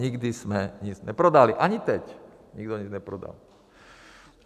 Nikdy jsme nic neprodali, ani teď nikdo nic neprodal.